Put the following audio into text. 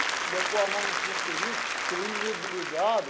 De eu pôr a mão no no cilindro, o cilindro li ligado,